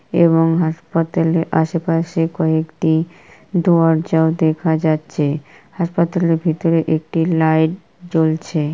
এবং হাসপাতালের আশেপাশে কয়েকটি দরজা দেখা যাচ্ছে | হাসপাতালের ভিতর একটি লাইট জ্বলছে।